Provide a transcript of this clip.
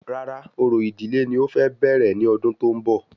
Rárá, orò ìdílé ni o fẹ bẹ̀rẹ̀ ní ọdún tó ń bọ̀